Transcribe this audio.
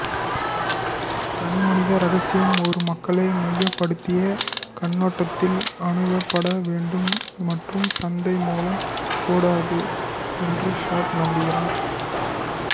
தனிமனித இரகசியம் ஒரு மக்களை மையப்படுத்திய கண்ணோட்டத்தில் அணுகப்பட வேண்டும் மற்றும் சந்தை மூலம் கூடாது என்று ஷேட் நம்புகிறார்